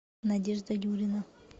надежда юрина